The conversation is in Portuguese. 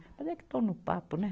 Mas é que estão no papo, né?